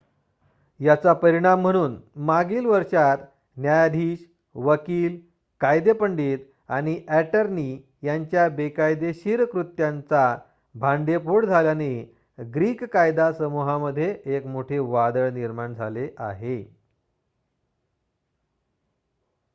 याचा परिणाम म्हणून मागील वर्षात न्यायाधीश वकील कायदेपंडित आणि ॲटर्नी यांच्या बेकायदेशीर कृत्यांचा भांडेफोड झाल्याने ग्रीक कायदा समूहामध्ये एक मोठे वादळ निर्माण झाले आहे